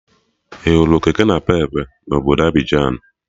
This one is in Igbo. Ị hụrụ kekenapepe na obodo Abịjan?